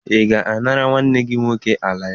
Ị ga-anara nwanne gị nwoke ala ya?